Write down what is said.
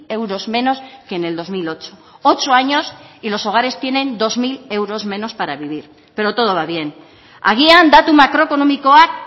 euros menos que en el dos mil ocho ocho años y los hogares tienen dos mil euros menos para vivir pero todo va bien agian datu makroekonomikoak